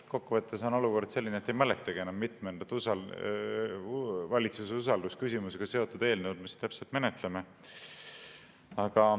Kokkuvõttes on olukord selline, et ei mäletagi enam, mitmendat valitsuse usaldusküsimusega seotud eelnõu me täpselt menetleme.